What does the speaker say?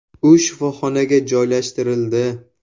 U shifoxonaga joylashtirildi.